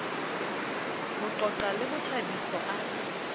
ho qoqa le bothabiso a